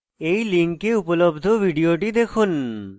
এই link উপলব্ধ video দেখুন